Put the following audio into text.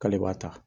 K'ale b'a ta